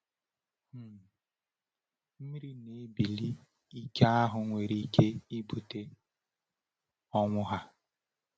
um Mmiri na-ebili ike ahụ nwere ike ibute ọnwụ ha.